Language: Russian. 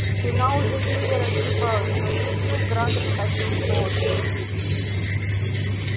спина уже еле разгибалась по лицу градом катил пот